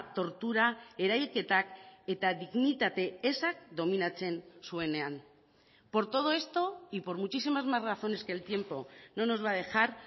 tortura erailketak eta dignitate ezak dominatzen zuenean por todo esto y por muchísimas más razones que el tiempo no nos va a dejar